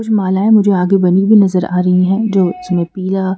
मालाएं मुझे आगे बनी हुई नजर आ रही हैं जो इसमें पीला--